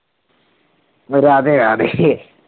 Radhe Radhe